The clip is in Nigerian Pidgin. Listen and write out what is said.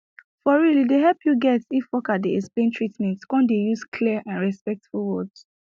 for real e dey help you get if worker dey explain treatment come dey use clear and respectful words